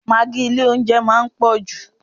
Magi ilé oúnjẹ máa ń pò jù.